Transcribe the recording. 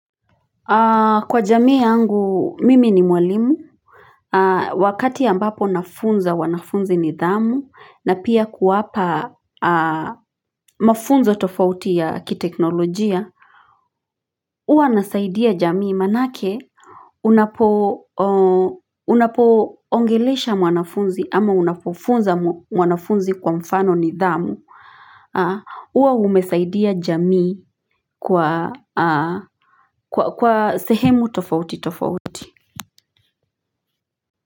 Kwa jamii yangu mimi ni mwalimu Wakati ambapo nafunza wanafunzi nidhamu na pia kuwapa mafunzo tofauti ya kiteknolojia huwa nasaidia jamii maanake unapo unapo ongelesha mwanafunzi ama unapofunza mwanafunzi kwa mfano nidhamu huwa umesaidia jamii kwa kwa sehemu tofauti tofauti.